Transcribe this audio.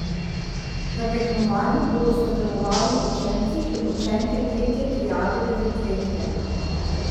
V tekmovanju bodo sodelovali učenci in učenke tretje triade devetletke.